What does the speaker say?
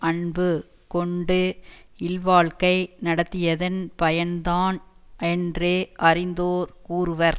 அன்பு கொண்டு இல் வாழ்க்கை நடத்தியதன் பயன்தான் என்று அறிந்தோர் கூறுவர்